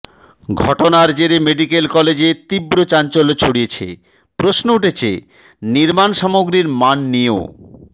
ঘটনার জেরে মেডিক্যাল কলেজে তীব্র চাঞ্চল্য ছড়িয়েছে প্রশ্ন উঠেছে নির্মাণ সামগ্রীর মান নিয়েও